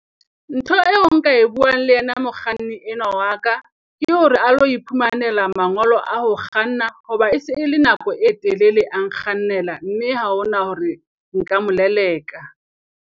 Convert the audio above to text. Ntho eo nka e buang le yena mokganni enwa wa ka, ke hore a lo iphumanela mangolo a ho kganna. Ho ba se e le nako e telele a nkgannela, mme ha ho na hore nka mo leleka.